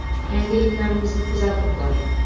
Yangiliklarimizni kuzatib boring!